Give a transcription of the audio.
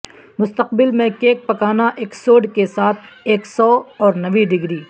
مستقبل میں کیک پکانا ایک سوڈ کے ساتھ ایک سو اور نویں ڈگری